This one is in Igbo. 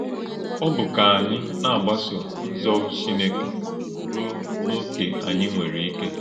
Ọ bụ́ kà ányị na - àgbàsò̄ ǹzọ̀ụ̀ Chí́nẹ́kè rúó̄ n’ókè ányị nwere íké.